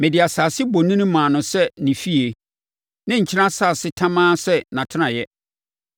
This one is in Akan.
Mede asase bonini maa no sɛ ne fie, ne nkyene asase tamaa sɛ nʼatenaeɛ.